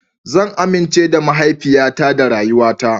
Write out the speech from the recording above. Zan amince da mahaifiyata da rayuwata.